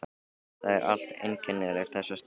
Það er allt einkennilegt þessa stundina.